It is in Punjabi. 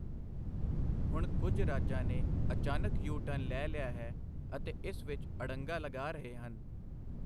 ਹੁਣ ਕੁਝ ਰਾਜਾਂ ਨੇ ਅਚਾਨਕ ਯੂ ਟਰਨ ਲੈ ਲਿਆ ਹੈ ਅਤੇ ਇਸ ਵਿੱਚ ਅੜੰਗਾ ਲਗਾ ਰਹੇ ਹਨ।